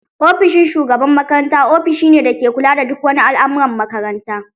Ofishin shugaban makaranta ofishin ne dake kula da duk wani al'amuran makaranta.